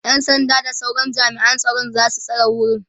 ƴan sanda da sauran jami'an tsaro zasu tsare wurin